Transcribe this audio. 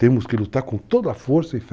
Temos que lutar com toda a força e fé.